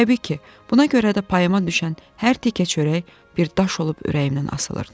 Təbii ki, buna görə də payıma düşən hər tikə çörək bir daş olub ürəyimdən asılırdı.